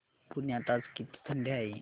पुण्यात आज किती थंडी आहे